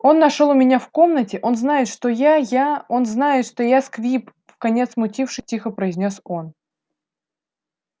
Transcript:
он нашёл у меня в комнате он знает что я я он знает что я сквиб вконец смутившись тихо произнёс он